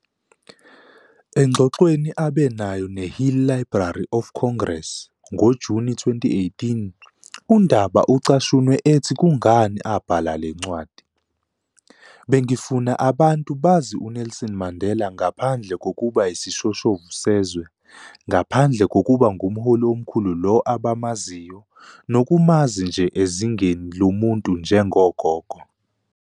Engxoxweni abe nayo neHill eLibrary of Congress, ngoJuni 2018, uNdaba ucashunwe ethi kungani abhala le ncwadi, "Bengifuna abantu bazi uNelson Mandela ngaphandle kokuba yisishoshovu sezwe, ngaphandle kokuba ngumholi omkhulu lo abamaziyo nokumazi nje ezingeni lomuntu njengogogo.